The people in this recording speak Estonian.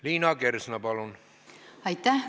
Liina Kersna, palun!